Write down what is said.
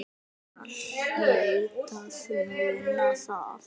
Lena hlaut að muna það.